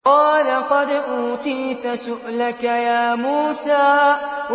قَالَ قَدْ أُوتِيتَ سُؤْلَكَ يَا مُوسَىٰ